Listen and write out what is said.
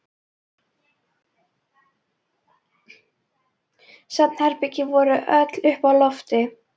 Svefnherbergin voru öll uppi á lofti.